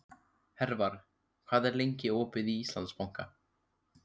Hervar, hvað er lengi opið í Íslandsbanka?